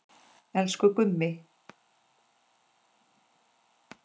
Elsku Gummi.